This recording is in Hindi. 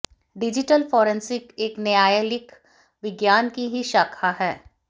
डिजिटल फोरेंसिक एक न्यायालयिक विज्ञान की ही शाखा है